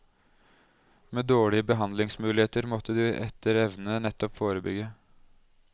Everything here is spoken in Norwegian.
Med dårlige behandlingsmuligheter måtte de etter evne nettopp forebygge.